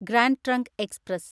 grand trunk express